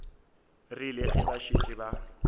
rile ge ba šetše ba